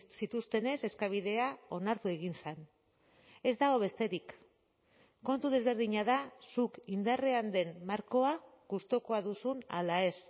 zituztenez eskabidea onartu egin zen ez dago besterik kontu desberdina da zuk indarrean den markoa gustukoa duzun ala ez